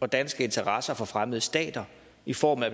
og danske interesser fra fremmede stater i form af